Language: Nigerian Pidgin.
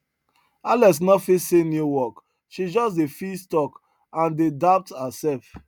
alex no fit see new work she just dey feel stuck and dey doubt herself